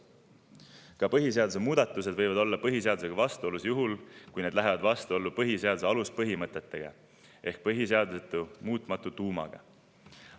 Ka põhiseaduse muudatused võivad olla põhiseadusega vastuolus, juhul kui need lähevad vastuollu põhiseaduse aluspõhimõtetega ehk põhiseaduse muutumatu tuumaga.